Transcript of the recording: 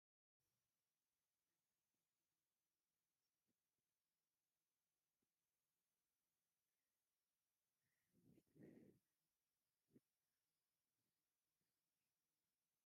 ኣብ ክቢ ፈርኔሎ መቅሎ ሰክቲታ ቡና እናቀለወት ኣብ ጎኑ ኣብ ጣውላ ሓሙስተ ፈናጅል ደፊኣ ኣላ ። እዞም ፈናጅል ፍሉይ ሽሞም እንታይ እዩ ?